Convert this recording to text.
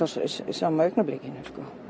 sama augnablikinu